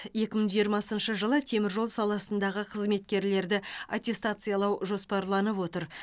екі мың жиырмасыншы жылы теміржол саласындағы қызметкерлерді аттестациялау жоспарланып отыр